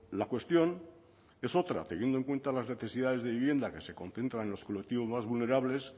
la cuestión es otra teniendo en cuenta las necesidades de vivienda que se concentran en los colectivos más vulnerables